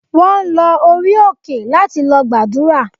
Wọ́n lọ orí òkè láti lọ gbàdúrà.